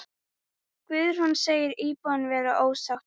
Guðrún segir íbúana vera ósátta.